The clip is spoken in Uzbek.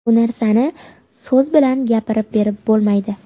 Bu narsani so‘z bilan gapirib berib bo‘lmaydi.